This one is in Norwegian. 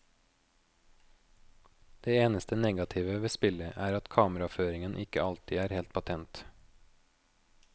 Det eneste negative ved spillet er at kameraføringen ikke alltid er helt patent.